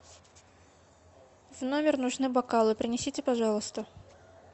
в номер нужны бокалы принесите пожалуйста